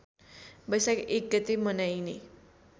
वैशाख १ गते मनाइने